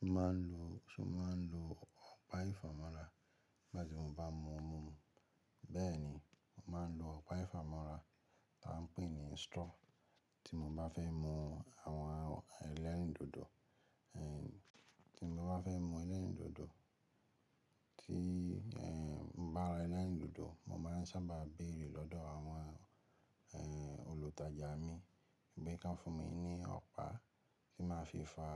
Mo máa ń lo, ṣo máa ń lo ọ̀pá ìfámọ́ra nigba tí mo bá mú mú mi. Bẹ́ẹ̀ ni, mo máa ń lo ọ̀pá ìfámọ́ra tí wọ́n ń pè ní straw tí mo bá fẹ́ mú àwọn ẹlẹ́rìndòdò, ẹ́ tí mo bá fẹ́ mú ẹlẹ́rìndòdò. Tí ẹ́ n bá ra ẹlẹ́rìndòdò, mo máa ń sábà béèrè lọ́dọ̀ àwọn ẹ́ olùtajà mi, pe kan fún mi ní ọ̀pá tí máa fi fà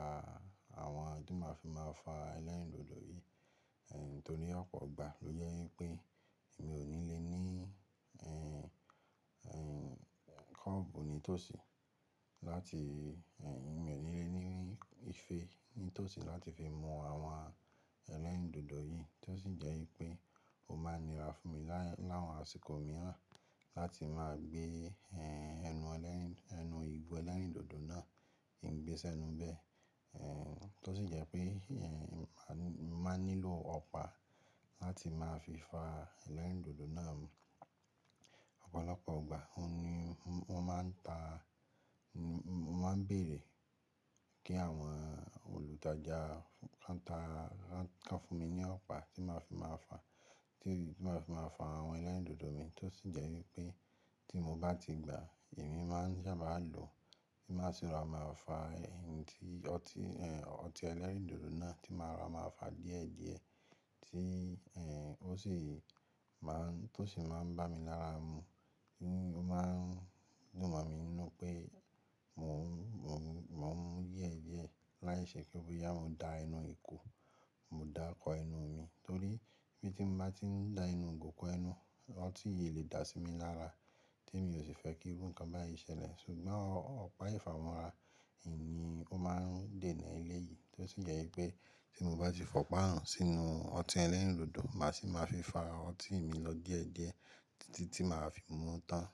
àwọn, tí máa fi máa fà ẹlẹ́rìndòdò yìí. Ẹ́ Nítorí ọ̀pọ̀ ìgbà ló jẹ́ wípé èmi ò ní lè ní ẹ́, ẹ́ kọ́ọ̀bù ní tòsí láti ẹ́, èmi ò ní lè ní ife ní tòsí láti fi mú àwọn ẹlẹ́rìndòdò yìí tí ó sì jẹ́ wípé ó máa nira fún mi lá, láwọn àsìkò mìíràn láti máa gbé ẹ́ ẹnu ẹlẹ́rìn, ẹnu igó ẹlẹ́rìndòdò náà, ki n gbésẹ́ nu bẹ́. Ẹ́ Tí ó sì jẹ́ pé ẹ́, ẹ́ má nílò ọ̀pá láti máa fi fà ẹlẹ́rìndòdò náà ọ̀pọ̀lọpọ̀ ìgbà. Ó ní, wọ́n máa ń ta, mo máa ń béèrè kí àwọn olùtajà wọ́n ta, wọ́n ká fún mi ní ọ̀pá tí màá fi máa fà, tí màá fi máa fà àwọn ẹlẹ́rìndòdò mi. Tí ó sì jẹ́ wípé tí mo bá ti gbà á, èmi máa ń sábà lo, kí màá sì ra máa fà ẹ́, tí ọtí ẹ́, ọtí ẹlẹ́rìndòdò náà tí màá rora máa fà díẹ̀díẹ̀ tí ẹ́ ó sì má, tí ó sì máa ń bá mi lára mu. Ó máa ń dùn mọ̀ mí ninú pé mò ń, mò ń, mò ń yè é díẹ̀ láìṣẹ́ pe bo yá, mo dà ẹnu ìkú, mo dà kọ ẹnu mi. Torí ibi tí mo bá ti ń dà ẹnu igo kọ ẹnu, ọtí yìí lè dà sí mi lára tí èmi ò sì fẹ́ kí irú nǹkan báyìí ṣẹlẹ̀. Ṣùgbọ́n ọ̀pá ìfámọ́ra yìí ni ó máa ń dènà ilé yìí tí ó sì jẹ́ wípé tí mo bá ti fọ̀pá hàn sínú ọtí ẹlẹ́rìndòdò, màá sì máa fi fà ọtí mi lọ díẹ̀díẹ̀ títí tí màá fi mú tán.